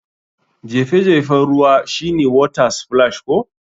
Jefe jefen ruwan shine water splash ko?